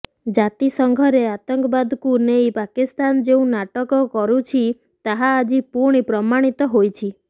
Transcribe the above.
ଜାତିସଂଘରେ ଆତଙ୍କବାଦକୁ ନେଇ ପାକିସ୍ତାନ ଯେଉଁ ନାଟକ କରୁଛି ତାହା ଆଜି ପୁଣି ପ୍ରମାଣିତ ହୋଇଛି